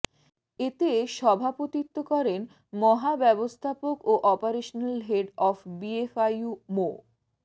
এতে সভাপতিত্ব করেন মহাব্যবস্থাপক ও operational head of BFIU Md